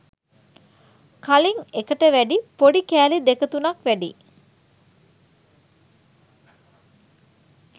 කලින් එකට වැඩ පොඩි කෑලි දෙක තුනක් වැඩියි